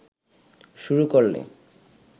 শুরু করলে